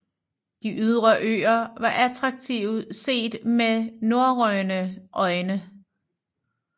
De ydre øer var attraktive set med norrøne øjne